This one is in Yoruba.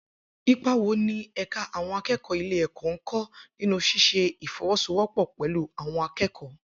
Ipa wo ni ẹ̀ka àwọn akẹ́kọ̀ọ́ ilé-ẹ̀kọ́ ń kó nínú ṣíṣe ìfọwọ́sowọ́pọ̀ pẹ̀lú àwọn akẹ́kọ̀ọ